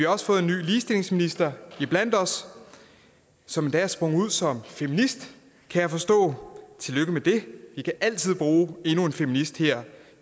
også fået en ny ligestillingsminister iblandt os som endda er sprunget ud som feminist kan jeg forstå og tillykke med det vi kan altid bruge endnu en feminist her